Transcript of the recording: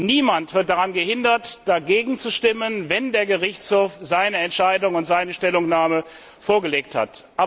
Niemand wird daran gehindert, dagegen zu stimmen, wenn der Gerichtshof seine Entscheidung und seine Stellungnahme vorgelegt hat.